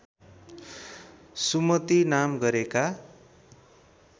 सुमति नाम गरेका